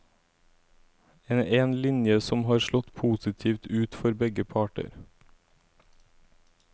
En linje som har slått positivt ut for begge parter.